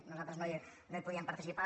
nosaltres no hi podíem participar